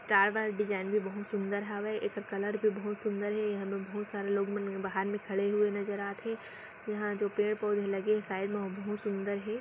तार वाला डिज़ाइन भी बहुत सूंदर हावे एकर कलर भी बहुत सुन्दर हे यहाँ में बहुत सारे लोग मन बाहर में खड़े हुए नजर आत हे यहाँ जो पेड़-पौधे लगे हे साइड में वो बहुत सुन्दर है।